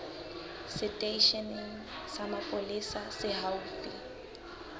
seteisheneng sa mapolesa se haufi